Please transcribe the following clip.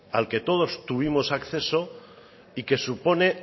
al que todos tuvimos acceso y que supone